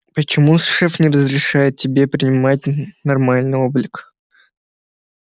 почему шеф не разрешает тебе принимать нормальный облик